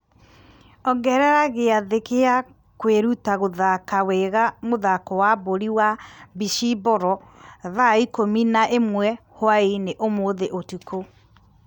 ongerera gĩathĩ gĩa kwĩruta gũthaka wega mũthako wa mũbira wa mbĩcimboro thaa ikũmi na ĩmwe hwaĩ-inĩ ũmũthĩ ũtukũ